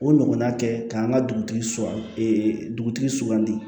O ɲɔgɔnna kɛ k'an ka dugutigiw e dugutigi sugandi